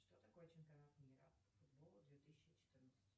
что такое чемпионат мира по футболу две тысячи четырнадцать